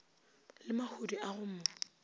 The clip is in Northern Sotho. le mahodu a go mo